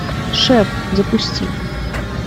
шеф запусти